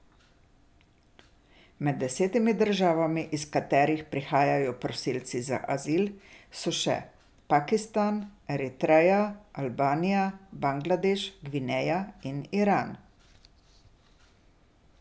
Med desetimi državami, iz katerih prihajajo prosilci za azil, so še Pakistan, Eritreja, Albanija, Bangladeš, Gvineja in Iran.